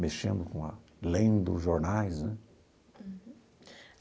mexendo com a lendo jornais né. Uhum.